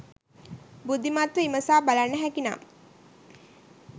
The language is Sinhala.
බුද්ධිමත්ව විමසා බලන්න හැකිනම්